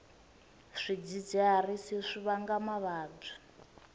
swidzidziharisi swi vanga mavabyi